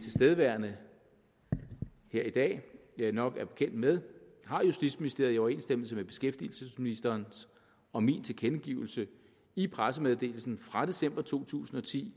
tilstedeværende her i dag nok er bekendt med har justitsministeriet i overensstemmelse med beskæftigelsesministerens og min tilkendegivelse i pressemeddelelsen fra december to tusind og ti